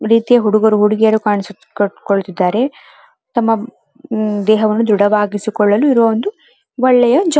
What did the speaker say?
ರೀತಿಯ ಹುಡುಗರು ಹುಡುಗಿಯರು ಕಾಣಿಸುಕೊಳ್ಳುತ್ತಿದ್ದರೆ ತಮ್ಮ ದೇಹವನ್ನು ದ್ರಢವಾಗಿಸಿಕೊಳ್ಳಲು ಇರುವ ಒಂದು ಒಳ್ಳೆಯಜಾಗ.